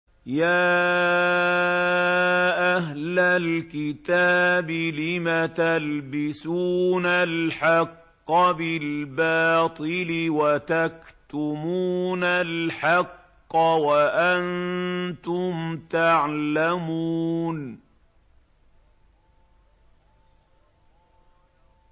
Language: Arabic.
يَا أَهْلَ الْكِتَابِ لِمَ تَلْبِسُونَ الْحَقَّ بِالْبَاطِلِ وَتَكْتُمُونَ الْحَقَّ وَأَنتُمْ تَعْلَمُونَ